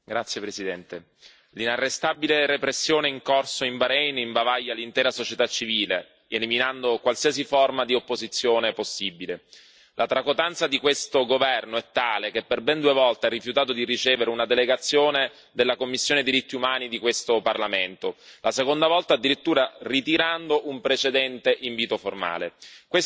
Signor Presidente, onorevoli colleghi, l'inarrestabile repressione in corso in Bahrein imbavaglia l'intera società civile, eliminando qualsiasi forma di opposizione possibile. La tracotanza di questo governo è tale che, per ben due volte, ha rifiutato di ricevere una delegazione della sottocommissione per i diritti dell'uomo di questo Parlamento, la seconda volta addirittura ritirando un precedente invito formale.